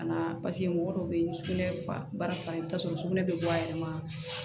Ka na paseke mɔgɔ dɔw bɛ yen sugunɛ bara fan bɛɛ bɛ bɔ a yɛrɛ ma